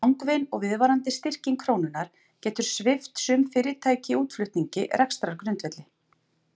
Langvinn og viðvarandi styrking krónunnar getur svipt sum fyrirtæki í útflutningi rekstrargrundvelli.